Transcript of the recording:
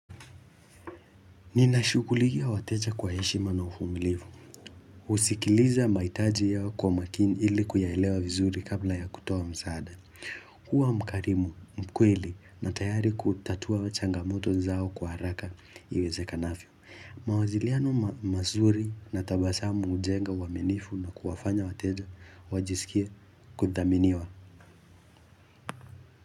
Ninashughulikia wateja kwa heshima na uvumilivu. Kusikiliza mahitaji yao kwa makini ili kuyaelewa vizuri kabla ya kutoa msaada. Kua mkarimu, mkweli na tayari kutatua changamoto zao kwa haraka iwezekanavyo. Mawasiliano mazuri na tabasamu hujenga uwaminifu na kuwafanya wateja wajisikie kudhaminiwa.